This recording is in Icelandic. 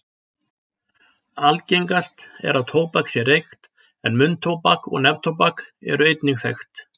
Algengast er að tóbak sé reykt en munntóbak og neftóbak eru einnig þekkt.